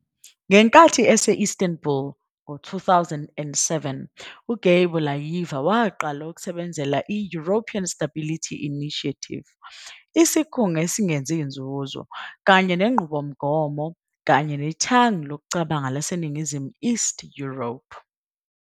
Ngenkathi ese-Istanbul e2007, uGeybullayeva waqala ukusebenzela i- European Stability Initiative, isikhungo esingenzi nzuzo kanye nenqubomgomo kanye nethangi lokucabanga laseNingizimu East Europe.